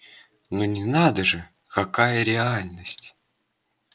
ну надо же какая реальность